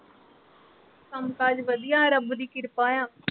ਕੰਮ ਕਾਜ ਵਧੀਆ ਰੱਬ ਦੀ ਕਿਰਪਾ ਆ